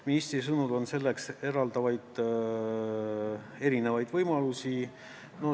Ministri sõnul on selleks erinevaid võimalusi.